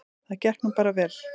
Það gekk nú bara vel.